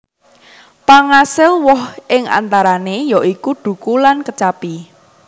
Pangasil woh ing antarané ya iku dhuku lan kecapi